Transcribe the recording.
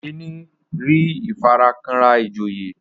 Okene rí ifarakanra ijoye.